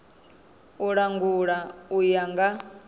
u langula u ya nga